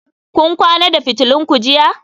Kun kwana da fitulun ku jiya?